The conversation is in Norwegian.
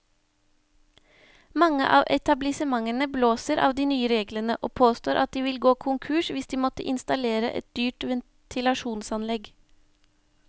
Mange av etablissementene blåser av de nye reglene, og påstår at de vil gå konkurs hvis de måtte installere dyrt ventilasjonsanlegg.